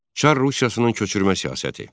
Çar Rusiyasının köçürmə siyasəti.